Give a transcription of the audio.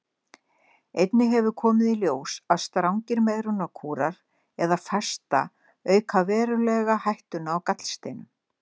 Einnig hefur komið í ljós að strangir megrunarkúrar eða fasta auka verulega hættuna á gallsteinum.